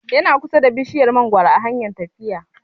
Yana kusa da bishiyar mangoro a hanyar fita